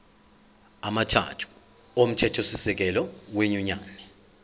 amathathu omthethosisekelo wenyunyane